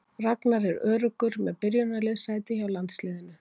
Ragnar er öruggur með byrjunarliðssæti hjá landsliðinu.